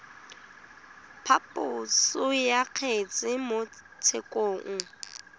phaposo ya kgetse mo tshekong